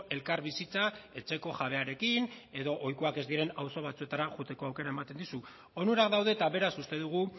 elkarbizitza etxeko jabearekin edo ohikoak ez diren auzo batzuetara joateko aukera ematen dizu onurak daude eta beraz uste dugu